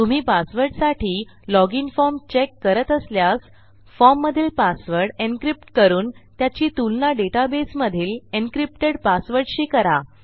तुम्ही पासवर्डसाठी लॉग inफॉर्म चेक करत असल्यास फॉर्ममधील पासवर्ड एन्क्रिप्ट करून त्याची तुलना डेटाबेसमधील encryptedपासवर्डशी करा